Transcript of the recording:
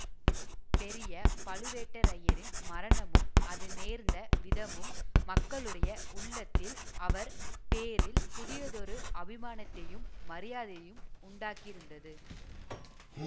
பெரிய பழுவேட்டரையரின் மரணமும் அது நேர்ந்த விதமும் மக்களுடைய உள்ளத்தில் அவர் பேரில் புதியதொரு அபிமானத்தையும் மரியாதையையும் உண்டாக்கியிருந்தது